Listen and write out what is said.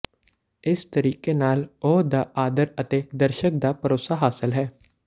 ਇਸ ਤਰੀਕੇ ਨਾਲ ਉਹ ਦਾ ਆਦਰ ਅਤੇ ਦਰਸ਼ਕ ਦਾ ਭਰੋਸਾ ਹਾਸਲ ਹੈ